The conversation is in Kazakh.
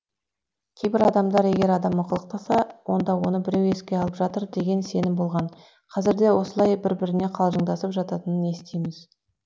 кейбір адамдар егер адам ықылықтаса онда оны біреу еске алып жатыр деген сенім болған қазірде осылай бір біріне қалжыңдасып жататынын естиміз